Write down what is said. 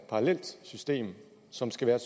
parallelt system som skal være